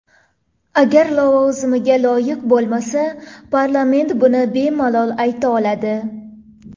Agar lavozimiga loyiq bo‘lmasa, parlament buni bemalol ayta oladi.